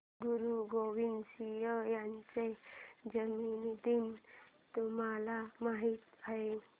गुरु गोविंद सिंह यांचा जन्मदिन तुम्हाला माहित आहे